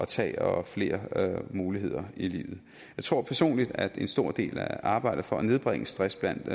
tage og flere muligheder i livet jeg tror personligt at en stor del af arbejdet for at nedbringe stress blandt